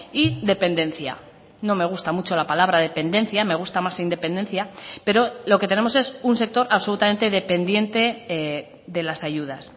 y dependencia no me gusta mucho la palabra dependencia me gusta más independencia pero lo que tenemos es un sector absolutamente dependiente de las ayudas